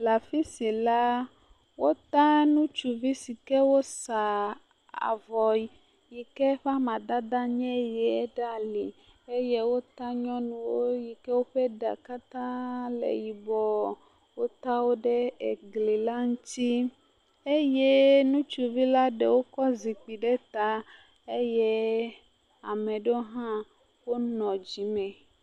Le afi si la, wota ŋutsuvi si wosa avɔ yi ke ƒe amadede nye ʋie ɖe ali eye wota nyɔnuwo yi ke woƒe ɖa katã le yibɔ. Wota wo ɖe gli la ŋuti eye ŋutsuvi la ɖewo kɔ zikpui ɖe ta eye ame aɖewo hã wonɔ dzi nɛ.